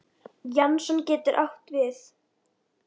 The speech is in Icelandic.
Jason getur átt við